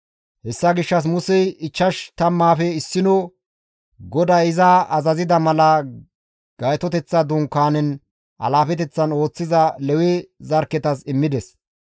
Hessa gishshas Musey ichchash tammaafe issino GODAY iza azazida mala Gaytoteththa Dunkaanen alaafeteththan ooththiza Lewe zarkketas immides.